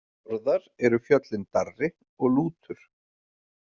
Norðar eru fjöllin Darri og Lútur.